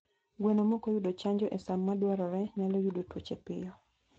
Gweno mokoyudo hanjo e saa madwarore nyalo yudo tuoche piyo